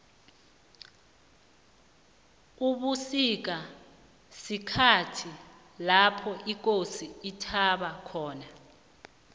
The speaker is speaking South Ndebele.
ubusika sikhhathi lopho ikosi ithaba khona